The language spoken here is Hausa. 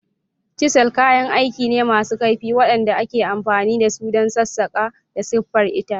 Chisels kayan aiki ne masu kaifi waɗanda ake amfani da su don sassaƙa da siffar itace.